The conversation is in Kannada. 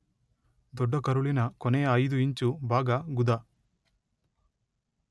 ದೊಡ್ಡ ಕರುಳಿನ ಕೊನೆಯ ಐದು ಇಂಚು ಭಾಗ ಗುದ.